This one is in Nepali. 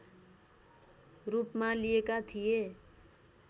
रूपमा लिएका थिए